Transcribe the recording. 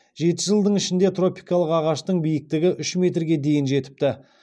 жеті жылдың ішінде тропикалық ағаштың биіктігі үш метрге дейін жетіпті